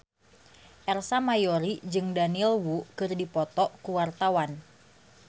Ersa Mayori jeung Daniel Wu keur dipoto ku wartawan